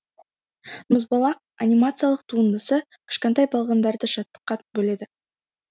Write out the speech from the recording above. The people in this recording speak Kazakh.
мұзбалақ анимациялық туындысы кішкентай балғындарды шаттыққа бөледі